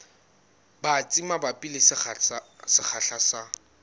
batsi mabapi le sekgahla sa